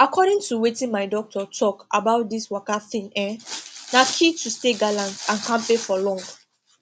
according to wetin my doctor talk about this waka thing um na key to stay gallant and kampe for long